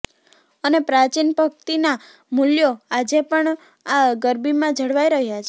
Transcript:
અને પ્રાચીન ભક્તિના મુલ્યો આજે પણ આ ગરબીમાં જળવાઈ રહ્યા છે